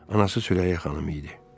Anası Sürəyya xanım idi.